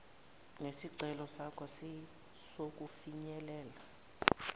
nesicelo sakho sokufinyelela